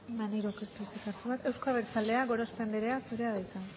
maneirok ez du hitzik hartu behar euzko abertzaleak gorospe andrea zurea da hitza